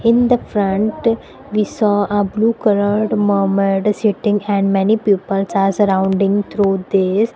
In the front we saw a blue coloured mermaid sitting and many peoples are surrounding through this.